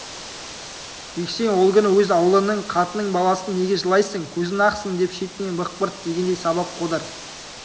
жексен ол күні өз аулының қатын-баласын неге жылайсың көзің ақсын деп шетінен бықпырт тигендей сабап қодар